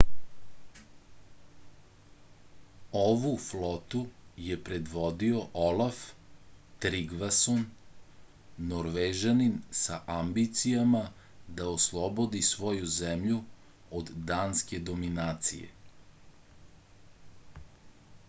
ovu flotu je predvodio olaf trigvason norvežanin sa ambicijama da oslobodi svoju zemlju od danske dominacije